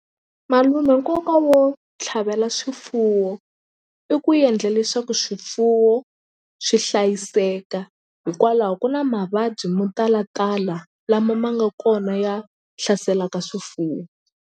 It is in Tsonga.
Malume nkoka wo tlhavela swifuwo i ku endla leswaku swifuwo swi hlayiseka hikwalaho ku na mavabyi mo talatala lama ma nga kona ya hlaselaka swifuwo.